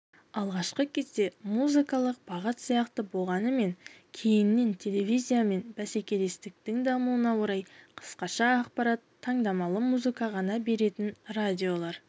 алғашқы кезде музыкалық бағыт сияқты болғанымен кейіннен телевизиямен бәсекелестіктің дамуына орай қысқа ақпарат таңдамалы музыка ғана беретін радиолар